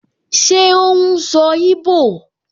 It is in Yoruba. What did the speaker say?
Ṣé ó n sọ íbò?